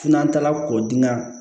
N'an taara k'o di n'a